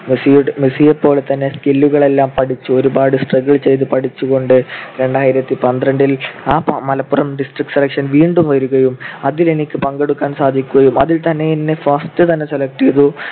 മെസ്സിയുടെ ~ മെസ്സിയെപ്പോലെതന്നെ skill കളെല്ലാം പഠിച്ചു ഒരുപാട് struggle ചെയ്‌തു പഠിച്ചുകൊണ്ട് രണ്ടായിരത്തിപന്ത്രണ്ടില് ആ മലപ്പുറം district selection വീണ്ടും വരികയും അതിൽ എനിക്ക് പങ്കെടുക്കാൻ സാധിക്കുകയും അതിൽത്തന്നെ എന്നെ first തന്നെ select ചെയ്തു.